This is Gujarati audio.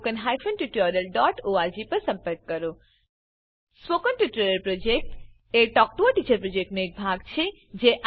spoken tutorial project talk to a teacher પ્રોજેક્ટનો એક ભાગ છે